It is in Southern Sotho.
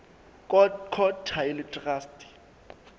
court ha e le traste